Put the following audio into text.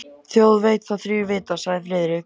Þjóð veit þá þrír vita sagði Friðrik.